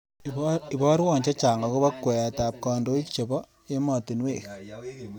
Ibarwon chechang agoba kweetab kandoinik chebo emotinwek